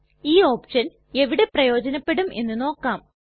ഈ ഓപ്ഷൻ എവിടെ പ്രയോജനപെടും എന്ന് നോക്കാം